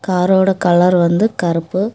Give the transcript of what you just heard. Car ஓட colour வந்து கருப்பு.